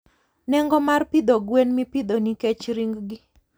Nengo mar pidho gwen mipidho nikech ring gi.